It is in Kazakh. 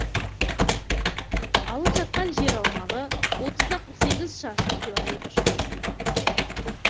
алып жатқан жер аумағы отызда қырық сегіз шаршы километр шамасында